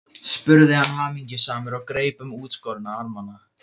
spurði hann hamingjusamur og greip um útskorna armana.